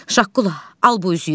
Şaqqula, al bu üzüyü.